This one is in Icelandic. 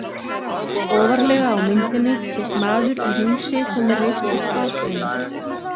Ofarlega á myndinni sést maður í húsi sem er reist úr hvalbeinum.